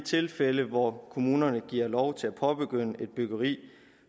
tilfælde hvor kommunerne giver lov til at påbegynde et byggeri